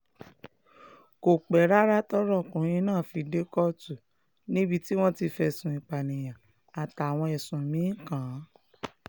kò pẹ́ rárá tọ́rọ̀ ọkùnrin náà fi dé kóòtù níbi tí wọ́n ti fẹ̀sùn ìpànìyàn àtàwọn ẹ̀sùn mí-ín kàn án